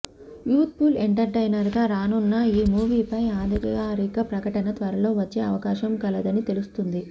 youth full entertainer గా రానున్న ఈ మూవీపై అధికారిక ప్రకటన త్వరలో వచ్చే అవకాశం కలదని తెలుస్తుంది